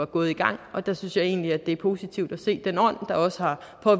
gået i gang og der synes jeg egentlig at det er positivt at se den ånd der også har